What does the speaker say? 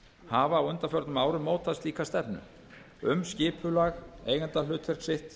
hafa á undanförnum árum mótað slíka stefnu um skipulag eigendahlutverk sitt